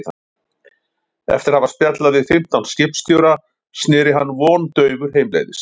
Eftir að hafa spjallað við fimmtán skipstjóra sneri hann vondaufur heimleiðis.